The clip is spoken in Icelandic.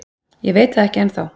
Ég veit það ekki enn þá.